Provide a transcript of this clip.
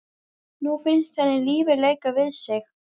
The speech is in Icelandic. Nú finnst henni lífið leika við sig.